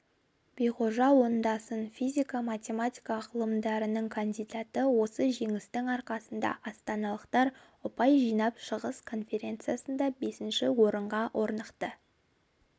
биғожа оңдасын физика-математика ғылымдарының кандидаты осы жеңістің арқасында астаналықтар ұпай жинап шығыс конференциясында бесінші орынға орнықты